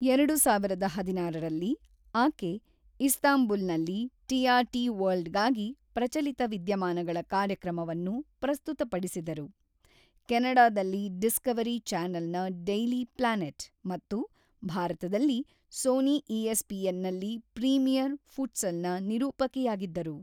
ಎರಡು ಸಾವಿರದ ಹದಿನಾರರಲ್ಲಿ, ಆಕೆ ಇಸ್ತಾಂಬುಲ್‌ನಲ್ಲಿ ಟಿ.ಆರ್‌.ಟಿ. ವರ್ಲ್ಡ್‌ಗಾಗಿ ಪ್ರಚಲಿತ ವಿದ್ಯಮಾನಗಳ ಕಾರ್ಯಕ್ರಮವನ್ನು ಪ್ರಸ್ತುತಪಡಿಸಿದರು, ಕೆನಡಾದಲ್ಲಿ ಡಿಸ್ಕವರಿ ಚಾನೆಲ್‌ನ ಡೈಲಿ ಪ್ಲಾನೆಟ್ ಮತ್ತು ಭಾರತದಲ್ಲಿ ಸೋನಿ ಇ.ಎಸ್‌.ಪಿ.ಎನ್‌.ನಲ್ಲಿ ಪ್ರೀಮಿಯರ್ ಫುಟ್ಸಲ್‌ನ ನಿರೂಪಕಿಯಾಗಿದ್ದರು.